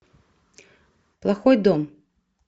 плохой дом